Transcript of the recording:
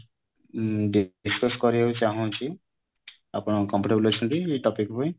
ମୁଁ discuss କରିବାକୁ ଚାହୁଁଛି ଆପଣ comfortable ଅଛନ୍ତି ଏଇ topic ପାଇଁ